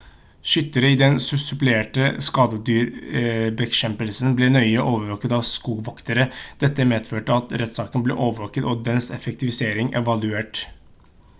skyttere i den supplerende skadedyrbekjempelsen ble nøye overvåket av skogvoktere dette medførte at rettssaken ble overvåket og dens effektivisering evaluert